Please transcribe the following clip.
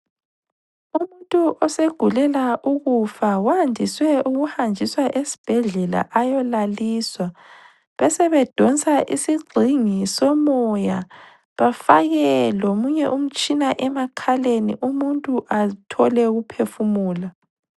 Umuntu osegulela ukufa wandiswe ukuhanjiswa esibhedlela ayolaliswa besebedonsa isigxingi somoya bafake lomunye umtshina emakhaleni umuntu athole ukuphefumula.